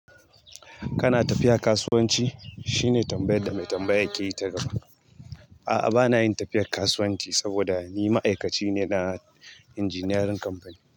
Kana tafiya kasuwanci? Shine tambayar da mai tambaya ke yi ta gaba. A'a bana yin tafiyar kasuwanci saboda ni ma'aikaci ne na injiniyarin kamfani.